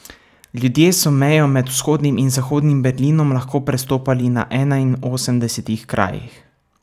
Ljudje so mejo med Vzhodnim in Zahodnim Berlinom lahko prestopali na enainosemdesetih krajih.